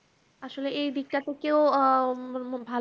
আসলে এই দিকটা তো কেউ আ উম ভালো